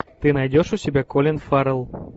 ты найдешь у себя колин фаррелл